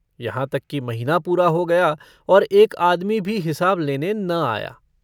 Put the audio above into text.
यहाँ तक कि महीना पूरा हो गया और एक आदमी भी हिसाब लेने न आया।